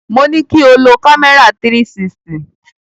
Mo ní kí o lo kámẹ́rà 360.